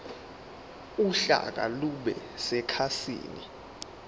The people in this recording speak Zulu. uhlaka lube sekhasini